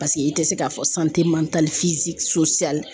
Paseke i tɛ se k'a fɔ